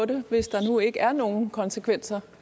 det hvis der nu ikke er nogen konsekvenser